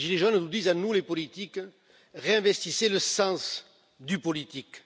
Les gilets jaunes nous disent à nous, les politiques réinvestissez le sens du politique,